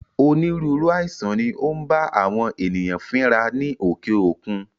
Onírúurú àìsàn ni ó ń bá àwọn ènìyàn fínra ní òkè òkun